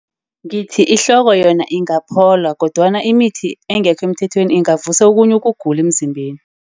Ngithi ihloko yona ingaphola, kodwana imithi engekho emthethweni ingavusa okhunye ukugula emzimbeni.